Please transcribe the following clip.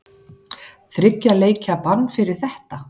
Þriggja leikja bann fyrir þetta?